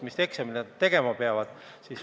Mis eksameid nad kõik tegema peavad!